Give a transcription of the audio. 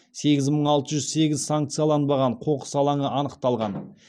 сегіз мың алты жүз сегіз санкцияланбаған қоқыс алаңы анықталған